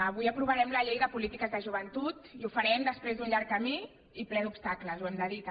avui aprovarem la llei de polítiques de joventut i ho farem després d’un llarg camí i ple d’obstacles ho hem de dir també